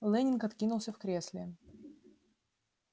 лэннинг откинулся в кресле